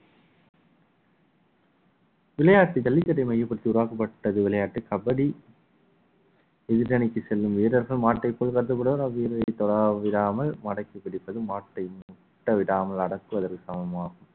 விளையாட்டு ஜல்லிக்கட்டை மையப்படுத்தி உருவாக்கப்பட்டது விளையாட்டு கபடி எதிரணிக்கு செல்லும் வீரர்கள் மாட்டை போல் கடத்தப்படுவார்கள் தொட விடாமல் மடக்கி பிடிப்பது மாட்டை முட்டவிடாமல் அடக்குவதற்கு சமமாகும்